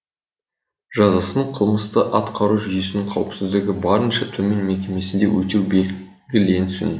жазасын қылмысты атқару жүйесінің қауіпсіздігі барынша төмен мекемесінде өтеу белгіленсін